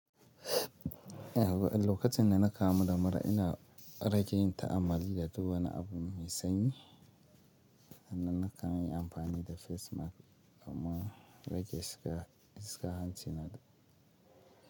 Eh, wuka tin na na kama damara ina rage yin ta’ammali da duba na abu mai sanyi, hana na kan yi amfani da face mask kuma rage shiga hanci na da.